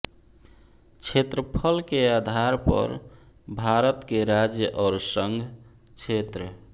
क्षेत्रफल के आधार पर भारत के राज्य और संघ क्षेत्र